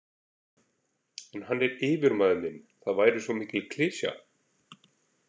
En hann er yfirmaður minn, það væri svo mikil klisja.